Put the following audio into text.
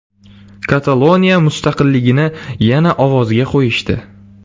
Kataloniya mustaqilligini yana ovozga qo‘yishdi.